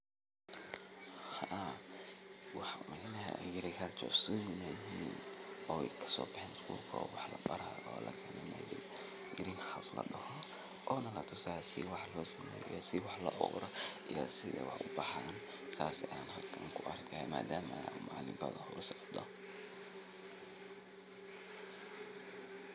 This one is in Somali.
Hawshan beerta soo baxaysa oo sawirka lagu tusayo waa mid muhiimad weyn ugu fadhida bulshada deegaankaaga. Marka laga hadlayo sida hawshan looga qabto bulshadaada, waxaa jira tallaabooyin dhowr ah oo muhiim ah in la qaado si ay bulshadaada uga faa’iidaysato beeraleyntan.